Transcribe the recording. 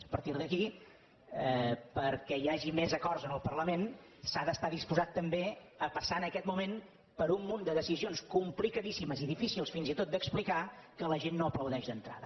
a partir d’aquí perquè hi hagi més acords en el parlament s’ha d’estar disposat també a passar en aquest moment per un munt de decisions complicadíssimes i difícils fins i tot d’explicar que la gent no aplaudeix d’entrada